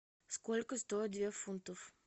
сколько стоит две фунтов